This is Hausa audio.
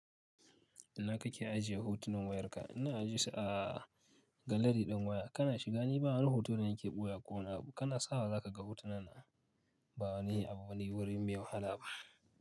Ina kake ajiye hutunan wayarka? Ina aje su a galari ɗin waya. Kana shiga ni ba wani hoto da nake ɓoyewa ko wani abu. Kana sawa za ka ga hotuna na ba wani abu bane wuri mai wahala ba.